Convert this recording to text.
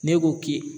Ne k'o k'i